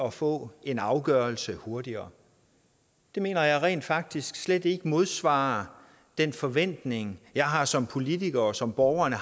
at få en afgørelse hurtigere det mener jeg rent faktisk slet ikke modsvarer den forventning jeg har som politiker og som borgerne